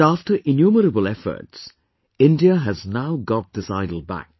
But after innumerable efforts, India has now got this idol back